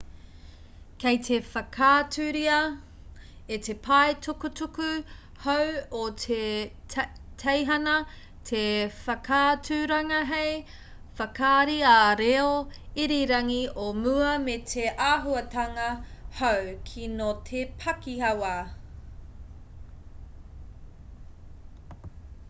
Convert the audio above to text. kei te whakaaturia e te pae tukutuku hou o te teihana te whakaaturanga hei whakaari ā-reo irirangi o mua me te āhuatanga hou kino te pakihawa